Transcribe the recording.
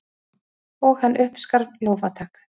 Og hann uppskar lófatak.